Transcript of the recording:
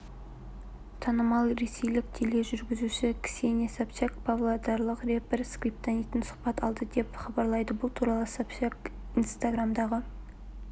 танымал ресейлік тележүргізуші ксения собчак павлодарлық рэпер скриптониттен сұхбат алды деп хабарлайды бұл туралы собчак инстаграмдағы